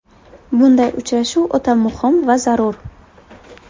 Bunday uchrashuv o‘ta muhim va zarur.